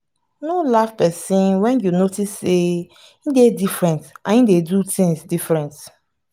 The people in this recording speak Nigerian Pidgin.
no laugh person when you notice sey im dey different and im dey do things different